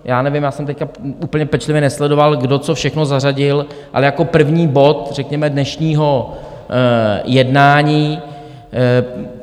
Já nevím, já jsem teď úplně pečlivě nesledoval, kdo co všechno zařadil, ale jako první bod řekněme dnešního jednání.